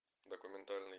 документальный